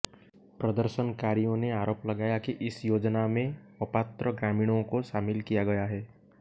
प्रदर्शनकारियों ने आरोप लगाया कि इस योजना में अपात्र ग्रामीणों को शामिल किया गया है